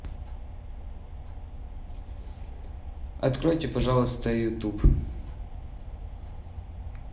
откройте пожалуйста ютуб